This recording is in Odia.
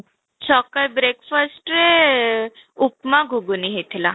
ସକାଳେ breakfast ରେ ଉପମା ଘୁଘୁନି ହେଇଥିଲା